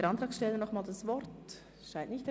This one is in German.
Der Antragsteller wünscht das Wort nicht mehr.